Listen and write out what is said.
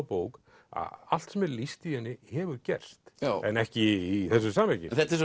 bók að allt sem er lýst í henni hefur gerst en ekki í þessu samhengi en þetta er